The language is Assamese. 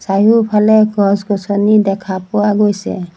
চাৰিওফালে গছ-গছনি দেখা পোৱা গৈছে।